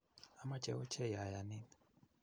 amoche ochei ayanin.